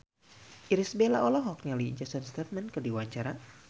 Irish Bella olohok ningali Jason Statham keur diwawancara